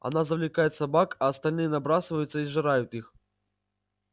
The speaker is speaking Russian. она завлекает собак а остальные набрасываются и сжирают их